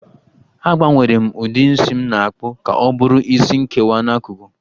Agbanwere m ụdị isi m na-akpụ ka ọ bụrụ isi nkewa n'akụkụ